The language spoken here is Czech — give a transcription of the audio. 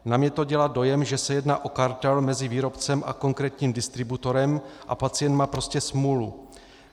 Na mě to dělá dojem, že se jedná o kartel mezi výrobcem a konkrétním distributorem a pacient má prostě smůlu.